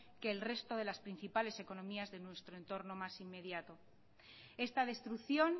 que el resto de las principales economías de nuestro entorno más inmediato esta destrucción